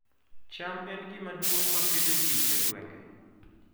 cham e gima duong' ma Pidhoo ji e gwenge